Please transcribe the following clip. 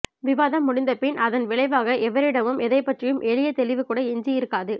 விவாதம் முடிந்தபின் அதன் விளைவாக எவரிடமும் எதைப்பற்றியும் எளிய தெளிவுகூட எஞ்சியிருக்காது